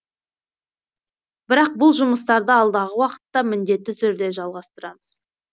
бірақ бұл жұмыстарды алдағы уақытта міндетті түрде жалғастырамыз